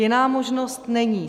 Jiná možnost není.